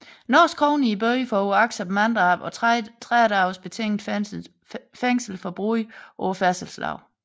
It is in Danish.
NOK i bøde for uagtsomt manddrab og 30 dages betinget fængsel for brud på færdselsloven